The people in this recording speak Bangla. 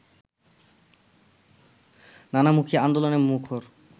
নানামুখী আন্দোলনে মুখর